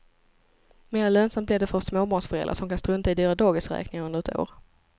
Mer lönsamt blir det för småbarnsföräldrar som kan strunta i dyra dagisräkningar under ett år.